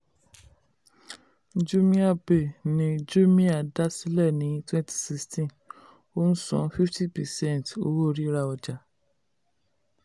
jumia pay ni jumia dá sílẹ̀ ní twenty sixteen ó ń sàn fifty percent owó rira ọjà.